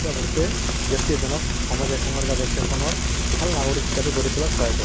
বস্তুয়ে ব্যাক্তি এজনক সমাজ এখনৰ বা দেশ এখনৰ ভাল নাগৰিক হিচাপে গড়ি তুলাত সহায় কৰে